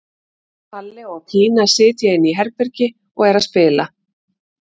Palli og Pína sitja inni í herbergi og eru að spila.